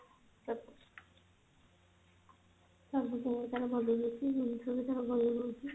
ସବୁ ତାର ଭଲ ରହୁଛି ଜିନିଷ ବି ତାର ଭଲ ରହୁଛି